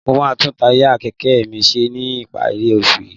Mo máa tún táyà kẹ̀kẹ́ mi ṣe ní ìparí oṣù yìí